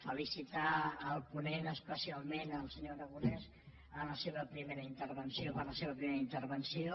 felicitar el ponent especialment el senyor aragonès en la seva primera intervenció quant a la seva primera intervenció